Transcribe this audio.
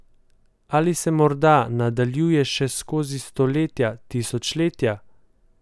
Ali se morda nadaljuje še skozi stoletja, tisočletja?